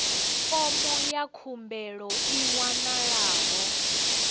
fomo ya khumbelo i wanalaho